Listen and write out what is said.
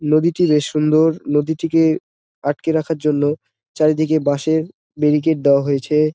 নদীটি বেশ সুন্দর নদীটিকে আটকে রাখার জন্য চারিদিকে বাঁশের ব্যারিকেট দেওয়া হয়েছে।